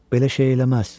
Belə şey eləməz.